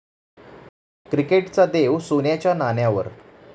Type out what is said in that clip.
क्रिकेटचा देव सोन्याच्या नाण्यावर!